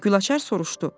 Gülaçar soruşdu: